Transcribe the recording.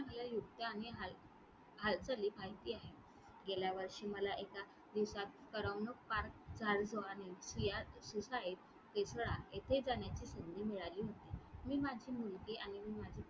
मला युक्त्या आणि हाल~हालचाली . गेल्या वर्षी मला एका दिवसात करमणूक park येथे जाण्याची संधी मिळाली होती. मी माझी मुलगी आणि